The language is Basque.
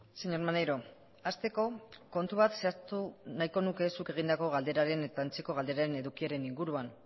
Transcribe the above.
señor maneiro hasteko kontu bat zehaztu nahiko nuke zuk egindako eta antzeko galderaren edukiaren inguruan